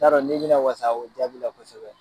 N t'a dɔn n'i bɛna wasa o jaabi la kosɛbɛ.